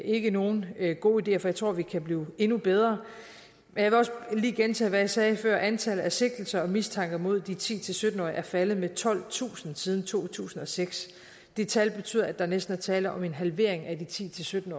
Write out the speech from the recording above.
ikke nogen gode ideer for jeg tror at vi kan blive endnu bedre men jeg vil også lige gentage hvad jeg sagde før nemlig at antallet af sigtelser og mistanker mod de ti til sytten årige er faldet med tolvtusind siden to tusind og seks det tal betyder at der næsten er tale om en halvering af de ti til sytten